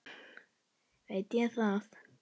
Veit ég það.